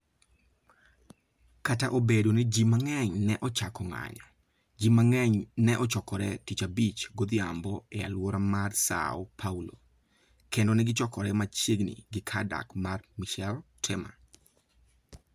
Kata obedo ni ji mang'eny ne ochako ng'anyo, ji mang'eny ne ochokore Tich Abich godhiambo e alwora mar Săo Paulo, kendo ne gichokore machiegni gi kar dak mar Michel Temer.